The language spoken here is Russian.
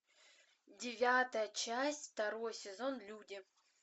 девятая часть второй сезон люди